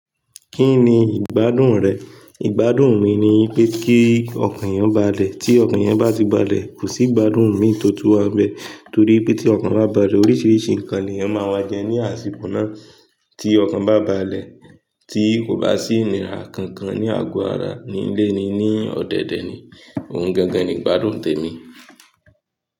Kí ni ìgbádùn rẹ̀? Ìgbádùn mi ni wipé kí ọkàn eyẹn balẹ̀. Tí ọkàn yẹn bá ti balẹ̀, kò sí ìgbádùn mi tó tún wanbe Torí pé tí ọkàn bá balẹ̀, oríṣiríṣi nǹkan ni ẹyan má ma jẹ ní àsìkò náà. Tí ọkàn bá balẹ̀, tí kò bá sí ìnira kankan ní àgọ ara ní ilẹ́ni ní ọ̀dẹ̀dẹ̀ ni, òun gangan ni ìgbádùn tèmi.